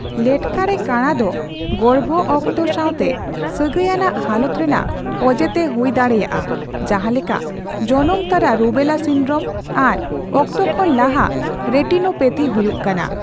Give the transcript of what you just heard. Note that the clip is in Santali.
ᱞᱮᱴᱠᱟ ᱨᱮ ᱠᱟᱬᱟ ᱫᱚ ᱜᱚᱨᱵᱷᱚ ᱚᱠᱛᱚ ᱥᱟᱣᱛᱮ ᱥᱟᱹᱜᱟᱹᱭᱟᱱᱟᱜ ᱦᱟᱞᱚᱛ ᱨᱮᱱᱟᱜ ᱚᱡᱮ ᱛᱮ ᱦᱩᱭ ᱫᱟᱲᱮᱭᱟᱜᱼᱟᱹ ᱡᱟᱦᱟᱸ ᱞᱮᱠᱟ ᱡᱚᱱᱚᱢᱛᱟᱨᱟ ᱨᱩᱵᱮᱞᱟ ᱥᱤᱱᱰᱨᱚᱢ ᱟᱨ ᱚᱠᱛᱚ ᱠᱷᱚᱱ ᱞᱟᱦᱟ ᱨᱮᱴᱤᱱᱳᱯᱮᱛᱷᱤ ᱦᱩᱭᱩᱜ ᱠᱟᱱᱟ ᱾